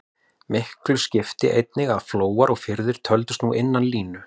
Miklu skipti einnig að flóar og firðir töldust nú innan línu.